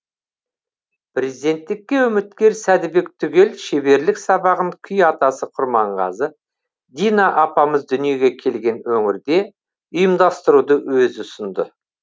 президенттікке үміткер сәдібек түгел шеберлік сабағын күй атасы құрманғазы дина апамыз дүниеге келген өңірде ұйымдастыруды өзі ұсынды